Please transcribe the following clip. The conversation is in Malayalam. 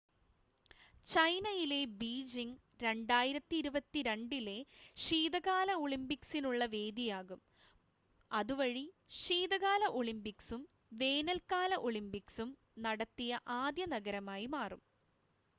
ചൈനയിലെ ബീജിംഗ് 2022 ലെ ശീതകാല ഒളിമ്പിക്സ്സിസിനുള്ള വേദിയാകും അതുവഴി ശീതകാല ഒളിമ്പിക്സും വേനൽക്കാല ഒളിമ്പിക്സും നടത്തിയ ആദ്യ നഗരമായി മാറും